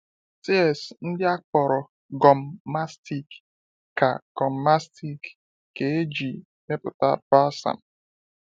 Tears ndị a akpọrọ gum mastic ka gum mastic ka e ji mepụta balsam.